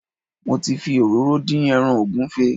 Mo ti fi òróró dín ẹran ògúnfe